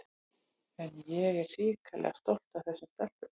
En ég er hrikalega stolt af þessum stelpum.